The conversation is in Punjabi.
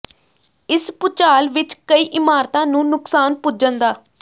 ਇਸ ਭੂਚਾਲ ਵਿੱਚ ਕਈ ਇਮਾਰਤਾਂ ਨੂੰ ਨੁਕਸਾਨ ਪੁੱਜਣ ਦਾ